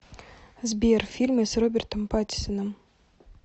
сбер фильмы с робертом паттинсоном